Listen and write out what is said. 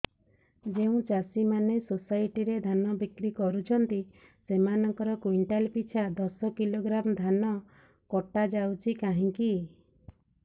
ଯେଉଁ ଚାଷୀ ମାନେ ସୋସାଇଟି ରେ ଧାନ ବିକ୍ରି କରୁଛନ୍ତି ସେମାନଙ୍କର କୁଇଣ୍ଟାଲ ପିଛା ଦଶ କିଲୋଗ୍ରାମ ଧାନ କଟା ଯାଉଛି କାହିଁକି